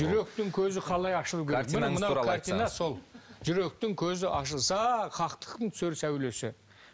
жүректің көзі қалай ашылу керек сол жүректің көзі ашылса хактықтың түсер сәулесі